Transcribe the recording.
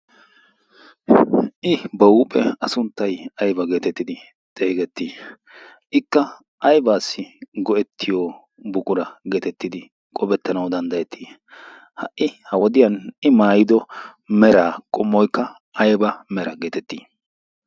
Ha"i A sunttay aybaa geetettidi xeegettii? Ikka aybaassi go'ettiyo buqura geetettidi qofettanawu danddayettii? Ha''i ha wodiyan I maayido meraa qommoykka ayba mera geetettii?